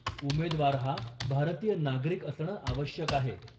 उमेदवार हा भारतीय नागरिक असणं आवश्यक आहे.